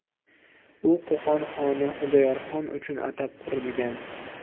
U Qo‘qon xoni Xudoyorxon uchun atab qurilgan.